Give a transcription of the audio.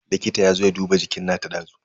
Likita yazo ya duba jikin nata dazu.